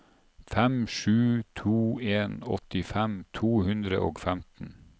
fem sju to en åttifem to hundre og femten